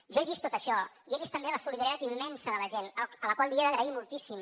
jo he vist tot això i he vist també la solidaritat immensa de la gent a la qual ho he d’agrair moltíssim